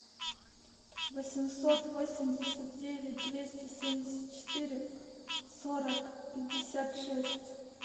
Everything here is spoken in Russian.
восемьсот восемьдесят девять двести семьдесят четыре сорок пятьдесят шесть